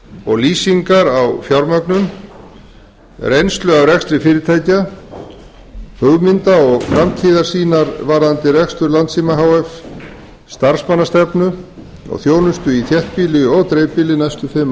og lýsingar á fjármögnun reynslu af rekstri fyrirtækja hugmynda og framtíðarsýnar varðandi rekstur landssímans h f starfsmannastefnu og þjónustu í þéttbýli og dreifbýli næstu fimm